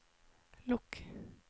lukk